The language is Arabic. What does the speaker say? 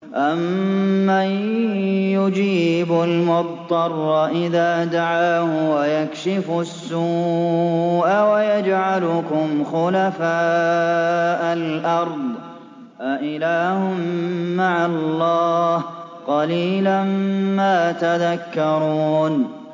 أَمَّن يُجِيبُ الْمُضْطَرَّ إِذَا دَعَاهُ وَيَكْشِفُ السُّوءَ وَيَجْعَلُكُمْ خُلَفَاءَ الْأَرْضِ ۗ أَإِلَٰهٌ مَّعَ اللَّهِ ۚ قَلِيلًا مَّا تَذَكَّرُونَ